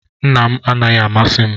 Nna m anaghị amasị m